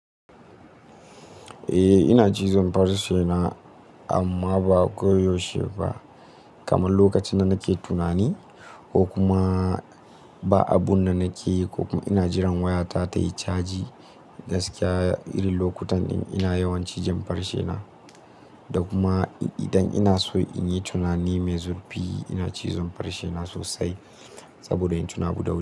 Eh ina cizon farce na amma ba koyaushe ba. Kamar lokacin da nake tunani ko kuma ba abun da nake yi ko kuma ina jiran wayata tayi caji. Gaskiya irin lokutan din ina yawan cizon farce na. Da kuma idan ina so in yi tunani mai zurfi ina cizon farce na sosai saboda in tuna abu da wuri.